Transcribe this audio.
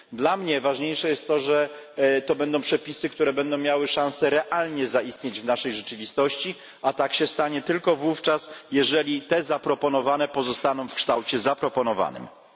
Dla mnie ważniejsze jest to, że to będą przepisy, które będą miały szansę realnie zaistnieć w naszej rzeczywistości, a tak się stanie tylko wówczas, jeżeli te zaproponowane pozostaną w pierwotnym zaproponowanym kształcie.